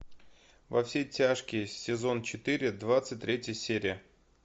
во все тяжкие сезон четыре двадцать третья серия